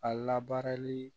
A labaarali